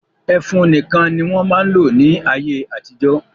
Ẹfun nìkan ni wọ́n máa ń lò ní ayé-àtijọ́.